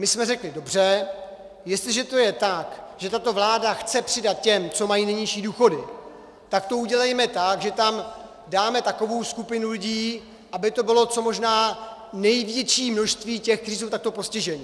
My jsme řekli dobře, jestliže je to tak, že tato vláda chce přidat těm, co mají nejnižší důchody, tak to udělejme tak, že tam dáme takovou skupinu lidí, aby to bylo co možná největší množství těch, kteří jsou takto postiženi.